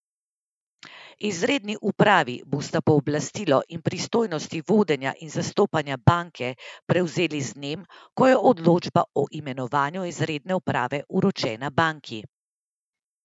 Izredni upravi bosta pooblastilo in pristojnosti vodenja in zastopanja banke prevzeli z dnem, ko je odločba o imenovanju izredne uprave vročena banki.